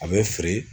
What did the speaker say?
A bɛ firi